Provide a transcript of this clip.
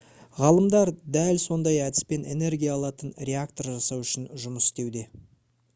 ғалымдар дәл сондай әдіспен энергия алатын реактор жасау үшін жұмыс істеуде